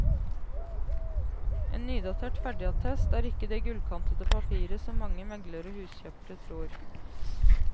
En nydatert ferdigattest er ikke det gullkantede papiret som mange meglere og huskjøpere tror.